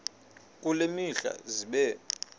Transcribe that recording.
kule mihla zibe